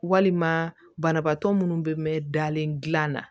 Walima banabaatɔ minnu bɛ mɛn dalen dilan na